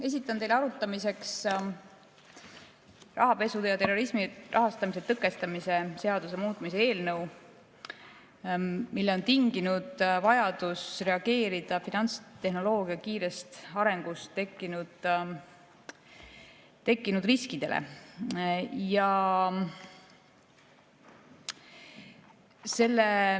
Esitan teile arutamiseks rahapesu ja terrorismi rahastamise tõkestamise seaduse muutmise seaduse eelnõu, mille on tinginud vajadus reageerida finantstehnoloogia kiirest arengust tekkinud riskidele.